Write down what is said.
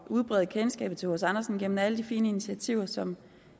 at udbrede kendskabet til hc andersen gennem alle de fine initiativer som